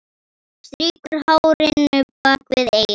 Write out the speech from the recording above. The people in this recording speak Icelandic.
Strýkur hárinu bak við eyrað.